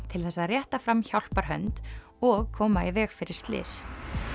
til þess að rétta fram hjálparhönd og koma í veg fyrir slys